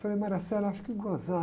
Eu falei, acho que gozado.